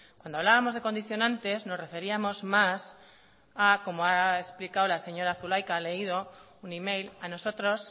cuando hablábamos de condicionantes nos referíamos más a como ha explicado la señora zulaika ha leído un email a nosotros